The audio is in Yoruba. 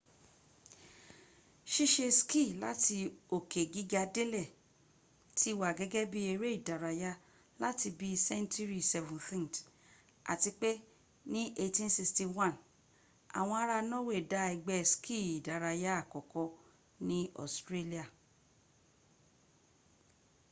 ṣiṣe ski lati oke giga delẹ ti wa gẹgẹ bi ere idaraya lati bii sẹnturi 17th ati pe ni 1861 awọn ara nọwe da ẹgbẹ ski idaraya akọkọ ni ọstrelia